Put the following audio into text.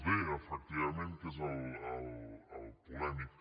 d efectivament que és el polèmic